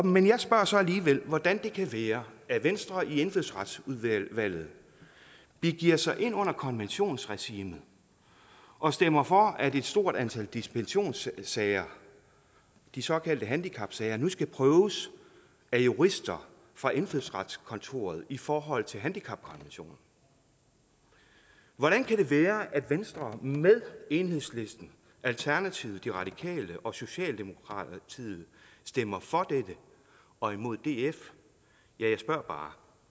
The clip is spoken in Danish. men jeg spørger så alligevel hvordan det kan være at venstre i indfødsretsudvalget begiver sig ind under konventionsregimet og stemmer for at et stort antal dispensationssager de såkaldte handicapsager nu skal prøves af jurister fra indfødsretskontoret i forhold til handicapkonventionen hvordan kan det være at venstre med enhedslisten alternativet de radikale og socialdemokratiet stemmer for dette og imod df jeg spørger bare